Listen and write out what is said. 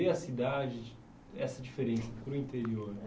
de ver a cidade, de essa diferença para o interior?